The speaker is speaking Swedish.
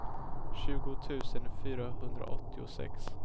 tjugo tusen fyrahundraåttiosex